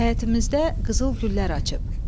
Həyətimizdə qızıl güllər açıb.